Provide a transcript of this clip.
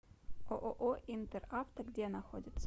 ооо интер авто где находится